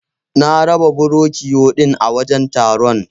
Na raba Burokiyo din a wajan taron